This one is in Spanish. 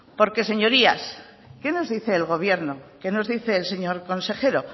porque señorías qué nos dice el gobierno qué nos dice el señor consejero